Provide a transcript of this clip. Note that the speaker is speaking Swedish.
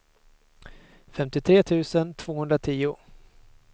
femtiotre tusen tvåhundratio